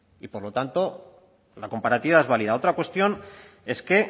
y por lo tanto la comparativa es válida otra cuestión es que